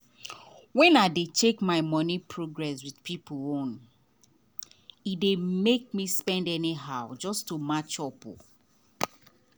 when i dey check my money progress with people own e dey make me spend anyhow just to match up.